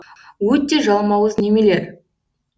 өте жалмауыз немелер